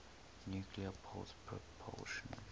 nuclear pulse propulsion